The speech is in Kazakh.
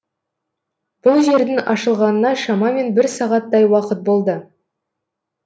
бұл жердің ашылғанына шамамен бір сағаттай уақыт болды